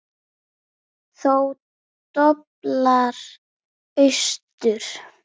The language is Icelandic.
Þá doblar austur.